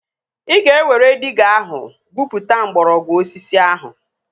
Ị ga-ewere diiga ahụ gwupụta mgbọrọgwụ osisi ahụ